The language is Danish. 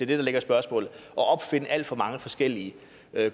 det der ligger i spørgsmålet at opfinde alt for mange forskellige